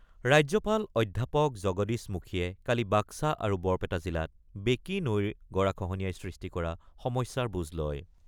ৰাজ্যপাল অধ্যাপক জগদীশ মুখীয়ে কালি বাক্সা আৰু বৰপেটা জিলাত বেকী নৈৰ গৰাখহনীয়াই সৃষ্টি কৰা সমস্যাৰ বুজ লয়।